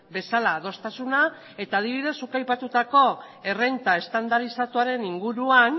bezala adostasuna eta adibidez zuk aipatutako errenta estandarizatuaren inguruan